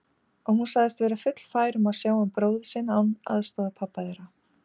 Og hún sagðist vera fullfær um að sjá um bróður sinn án aðstoðar pabba þeirra.